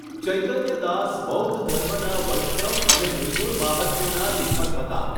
ચૈતન્ય દાસ બૌદ્ધ ધર્મનાં વૈષ્ણવ અને નિર્ગુણ માહાત્મ્યનાં લેખક હતા.